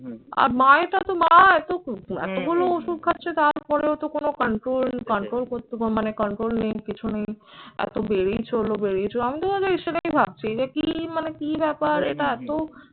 আর মা এরটা তো মা এতো এতগুলো ওষুধ খাচ্ছে তারপরেও তো কোন control control করতে মানে control নেই কিছু নেই। আরতো বেড়েই চললো বেড়েই চলেছে। আমি তো ভাবছি যে কি মানে কি ব্যাপার এটা এতো